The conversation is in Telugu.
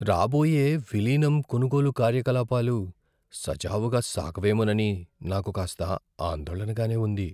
రాబోయే విలీనం, కొనుగోలు కార్యకలాపాలు సజావుగా సాగవేమోనని నాకు కాస్త ఆందోళనగానే ఉంది.